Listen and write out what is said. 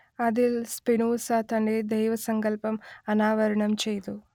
അതിൽ സ്പിനോസ തന്റെ ദൈവസങ്കല്പം അനാവരണം ചെയ്തു